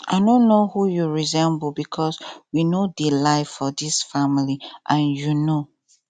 i no know who you resemble because we no dey lie for dis family and you know